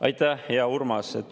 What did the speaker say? Aitäh, hea Urmas!